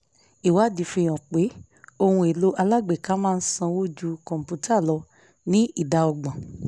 ìwádìí fi hàn pé ohun èlò alágbèéká máa ń sanwó ju kọ̀ǹpútà lọ ní ìdá ọgbọ̀n